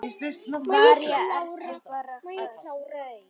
María: Ertu bara hress?